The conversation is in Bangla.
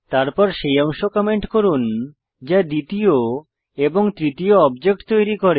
তারপর সেই অংশ কমেন্ট করুন যা দ্বিতীয় এবং তৃতীয় অবজেক্ট তৈরি করে